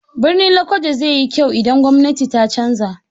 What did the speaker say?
Birnin Lokoja zai yi kyau idan gwamnati ta canza.